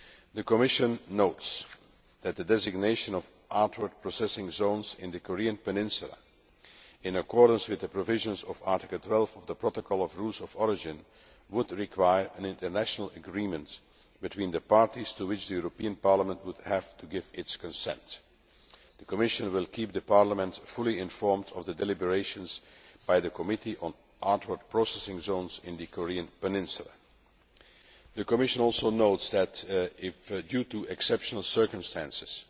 The Commission notes that the designation of outward processing zones in the Korean Peninsula, in accordance with the provisions of Article 12 of the Protocol on Rules of Origin, would require an international agreement between the parties to which the European Parliament would have to give its consent. The Commission will keep Parliament fully informed of the deliberations by the Committee on Outward Processing Zones in the Korean Peninsula. The Commission also notes that if, due to exceptional circumstances,